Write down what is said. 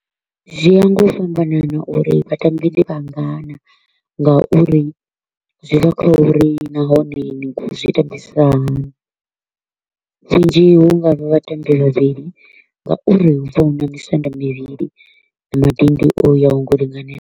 Zwi ya nga u fhambanana uri vhatambi ndi vhangana nga uri zwi bva kha uri nahone ni kho u zwi tambisa hani, zwindzhi hu nga vha vhatambi vhavhili ngauri hu vha hu na misanda mivhili na madindi o yaho ngau linganela.